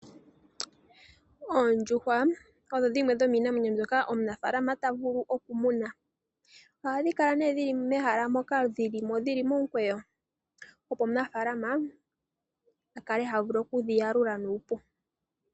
Oondjuhwa odho dhimwe dhomiinamwenyo mbyoka omunafaalama ta vulu oku muna. Ohadhi kala nee dhili mehala moka dhili mo dhili momukweyo opo omunafaalama akale ha vulu oku dhi yalula nuupu.